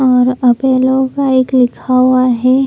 और आपेलो का एक लिखा हुआ है।